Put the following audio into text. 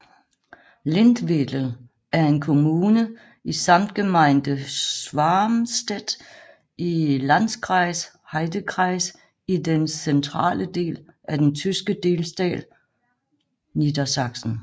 Lindwedel er en kommune i Samtgemeinde Schwarmstedt i Landkreis Heidekreis i den centrale del af den tyske delstat Niedersachsen